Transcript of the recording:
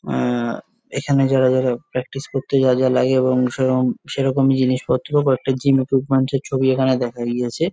আহ এখানে যারা যারা প্র্যাকটিস করতে যা যা লাগে এবং সেরকম সেরকম জিনিসপত্র কয়েকটা জিম ইকুইপমেন্ট -এর ছবি এখানে দেখা গিয়েছে।